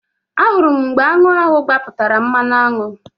Ahụrụ m mgbe aṅụ ahụ gbapụtara mmanụaṅụ